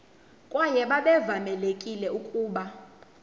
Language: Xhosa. kwaye babevamelekile ukuba